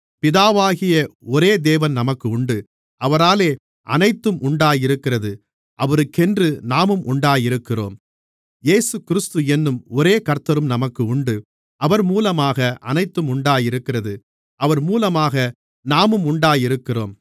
பிதாவாகிய ஒரே தேவன் நமக்கு உண்டு அவராலே அனைத்தும் உண்டாயிருக்கிறது அவருக்கென்று நாமும் உண்டாயிருக்கிறோம் இயேசுகிறிஸ்து என்னும் ஒரே கர்த்தரும் நமக்கு உண்டு அவர் மூலமாக அனைத்தும் உண்டாயிருக்கிறது அவர் மூலமாக நாமும் உண்டாயிருக்கிறோம்